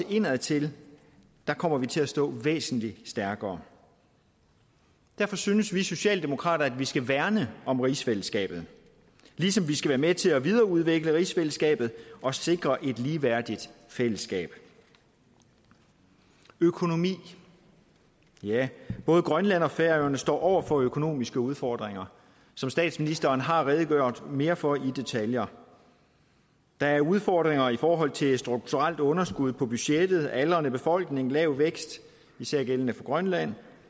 og indadtil kommer til at stå væsentlig stærkere derfor synes vi socialdemokrater at vi skal værne om rigsfællesskabet ligesom vi skal være med til at videreudvikle rigsfællesskabet og sikre et ligeværdigt fællesskab økonomi både grønland og færøerne står over for økonomiske udfordringer som statsministeren har redegjort mere for i detaljer der er udfordringer i forhold til et strukturelt underskud på budgettet aldrende befolkning lav vækst især gældende for grønland